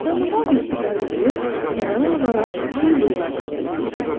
Damağıma bir siqar qoyub, avara-avara çöl bulvarda gəzinirdim.